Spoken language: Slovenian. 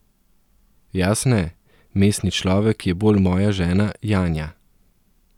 Jaz ne, mestni človek je bolj moja žena Janja.